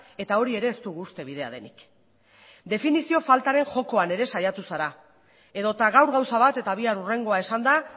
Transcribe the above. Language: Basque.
eta hori ere ez dugu uste bidea denik definizio faltaren jokoan ere saiatu zara edota gaur gauza bat eta bihar hurrengoa esanda